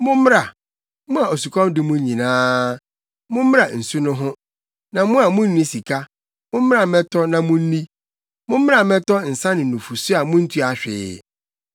“Mommra, mo a osukɔm de mo nyinaa, mommra nsu no ho; na mo a munni sika, mommra mmɛtɔ na munni! Mommra mmɛtɔ nsa ne nufusu a munntua hwee.